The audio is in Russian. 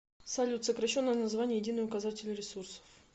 салют сокращенное название единый указатель ресурсов